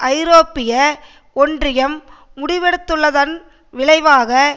ஐரோப்பிய ஒன்றியம் முடிவெடுத்துள்ளதன் விளைவாக